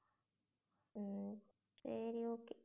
உம் சரி okay